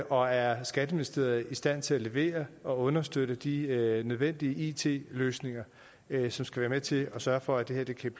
og er skatteministeriet i stand til at levere og understøtte de nødvendige it løsninger som skal være med til at sørge for at det her kan